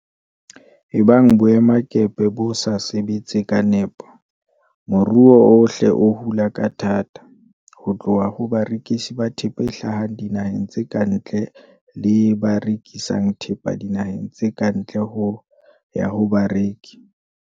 Ebang boemakepe bo sa sebetse ka nepo, moruo ohle o hula ka thata, ho tloha ho barekisi ba thepa e hlahang dinaheng tse ka ntle le ba rekisang thepa dinaheng tse ka ntle ho ya ho bareki.